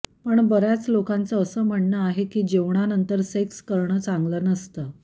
पण बऱ्याच लोकांचं असं म्हणणं आहे की जेवणानंतर सेक्स करणं चांगल नसतं